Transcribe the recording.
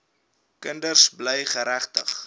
kinders bly geregtig